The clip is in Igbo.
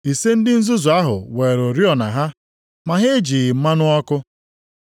Ise ndị nzuzu ahụ weere oriọna ha, ma ha ejighị mmanụ ọkụ.